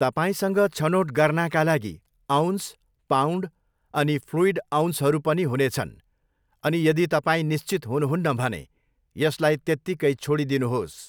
तपाईँसँग छनोट गर्नाका लागि 'अउन्स', 'पाउन्ड' अनि 'फ्लुइड अउन्सहरू' पनि हुनेछन्, अनि यदि तपाईँ निश्चित हुनुहुन्न भने यसलाई त्यत्तिकै छोडिदिनुहोस्।